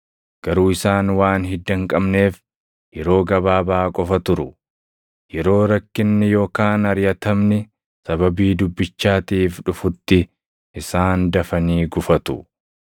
Garuu isaan waan hidda hin qabneef yeroo gabaabaa qofa turu. Yeroo rakkinni yookaan ariʼatamni sababii dubbichaatiif dhufutti isaan dafanii gufatu.